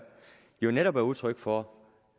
jo netop er udtryk for